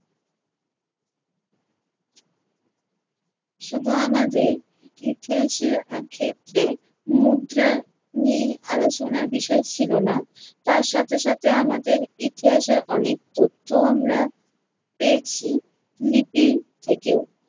শুধু আমাদের ইতিহাসের আহ ক্ষেত্রে মুদ্রা নিয়েই আলোচনার বিষয় ছিল না। তার সাথে সাথে আমাদের ইতিহাসের অনেক তথ্যও আমরা পেয়েছি, লিপি থেকেও।